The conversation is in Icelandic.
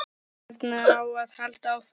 Hvernig á að halda áfram?